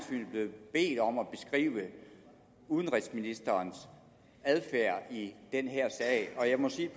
et om at beskrive udenrigsministerens adfærd i den her sag og jeg vil sige